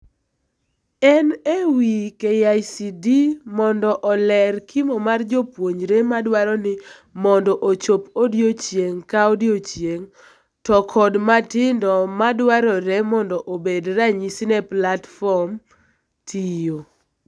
En ewii KICD mond oler kimo mar jopuonjre modwaro ni mondo ochop odiochieng' ka odiochieng' to kod matindo madwarore mondo obed ranyisi ne platform tiyo.